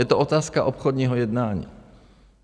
Je to otázka obchodního jednání.